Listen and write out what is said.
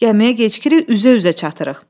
Gəmiyə gecikirik, üzə-üzə çatırıq.